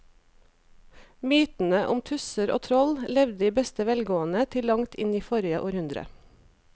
Mytene om tusser og troll levde i beste velgående til langt inn i forrige århundre.